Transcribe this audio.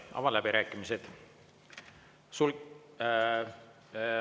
Avan läbirääkimised.